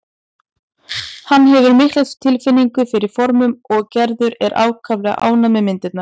Hann hefur mikla tilfinningu fyrir formum og Gerður er ákaflega ánægð með myndirnar.